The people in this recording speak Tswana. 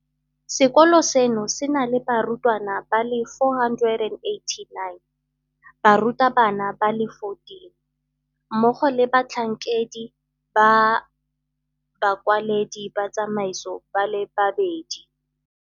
Sekolo seno se na le barutwana ba le 489, barutabana ba le 14, mmogo le batlhankedi ba bakwaledi ba tsamaiso ba le babedi.